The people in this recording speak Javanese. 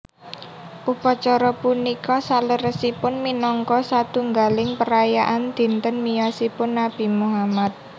Upacara punika saleresipun minangka satunggaling perayaan dinten miyosipun Nabi Muhammad